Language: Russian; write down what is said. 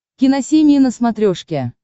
киносемья на смотрешке